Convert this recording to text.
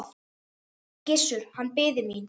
Gissur, hann biði mín.